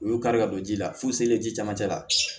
U y'o kari ka don ji la fu selen ji camancɛ la